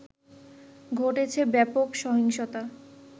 ঘটেছে ব্যাপক সহিংসতা